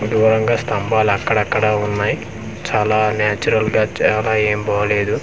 దూరంగా స్తంబలు అక్కడ అక్కడ ఉన్నాయి చాలా నాచురల్ గా చాలా ఏం బాలేదు ఇది ఇంకా.